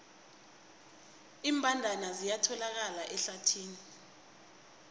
iimbandana ziyatholakala ehlathini